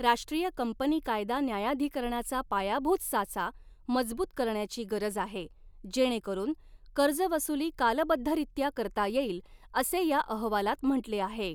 राष्ट्रीय कंपनी कायदा न्यायाधिकरणाचा पायाभूत साचा मजबूत करण्याची गरज आहे, जेणेकरून, कर्जवसुली कालबद्ध रित्या करता येईल, असे या अहवालात म्हंटले आहे.